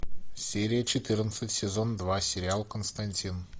серия четырнадцать сезон два сериал константин